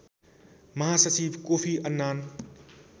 महासचिव Kofi Annan